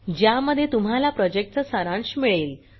ज्यामध्ये तुम्हाला प्रॉजेक्टचा सारांश मिळेल